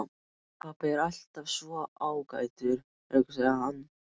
Pabbi er alltaf svo ágætur, hugsaði hann.